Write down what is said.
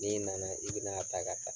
N'i nana, i ben'a ta ka taa.